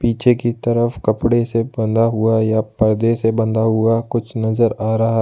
पीछे की तरफ कपड़े से बांध हुआ या पर्दे से बंधा हुआ कुछ नजर आ रहा।